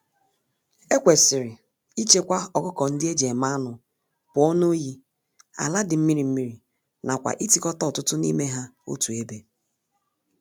Ekwesịrị ichekwa ọkụkọ-ndị-eji-eme-anụ pụọ n'oyi, àlà dị mmiri mmiri nakwa itikota ọtụtụ n'ime ha otú ébé